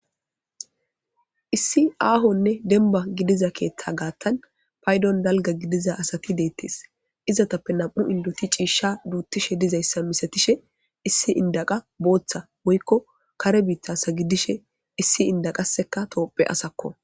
issi aahonne denba gidiza keeththa gaattan paydon dalga gidiza asati deettes izatappe nam7u indoti ciishsha duuttishe dizayssa misatishe issi indaqa booththa woykko kare biitasa gidishe issi indaqaseka toophe asakko